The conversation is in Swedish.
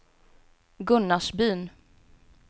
Gunnarsbyn